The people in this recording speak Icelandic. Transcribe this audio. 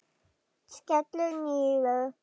Skellur niður.